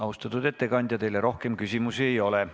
Austatud ettekandja, teile rohkem küsimusi ei ole.